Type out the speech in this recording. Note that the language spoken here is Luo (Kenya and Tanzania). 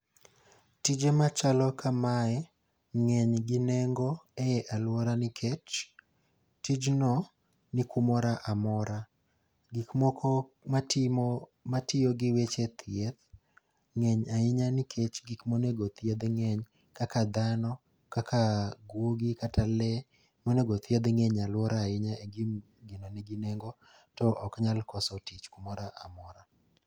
Tije ma chalo kamae ng'eny gi nengo ei alwora nikech tijno ni kumora amora. Gik moko matimo matiyo gi weche thieth ng'eny ahinya nikech gik monego othiedh ng'eny. Kaka dhano, kaka guogi kata le monego othiedh ng'eny alwora ahinya ng'eny e gi gino nigi nengo to ok nyal koso tich kumoro amora.